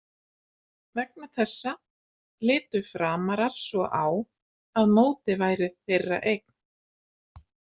Vegna þessa litu Framarar svo á að mótið væri þeirra eign.